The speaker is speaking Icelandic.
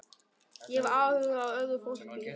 Ég hef áhuga á öðru fólki.